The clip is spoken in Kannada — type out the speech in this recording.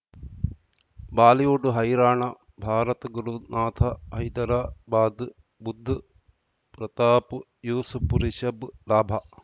ಬಾಲಿವುಡ್ ಹೈರಾಣ ಭಾರತ ಗುರುನಾಥ ಹೈದರಾಬಾದ್ ಬುಧ್ ಪ್ರತಾಪ್ ಯೂಸುಫ್ ರಿಷಬ್ ಲಾಭ